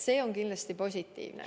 See on kindlasti positiivne.